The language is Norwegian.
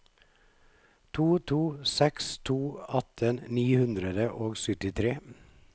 to to seks to atten ni hundre og syttitre